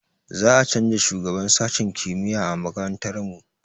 Za a canza shugaban sashen kimiyya a makarantar mu